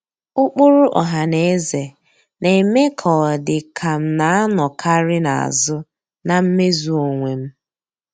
Ụkpụrụ ọhanaeze na-eme ka ọ dị ka m na-anọkarị n'azụ na mmezu onwe m.